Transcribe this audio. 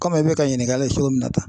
Kɔmi i be ka ɲininkali kɛ cogo min na tan